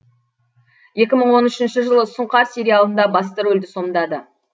екі мың он үшінші жылы сұңқар сериалында басты рөлді сомдады